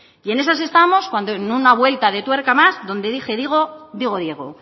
y en esas estamos cuando en una vuelta de tuerca más donde dije digo digo diego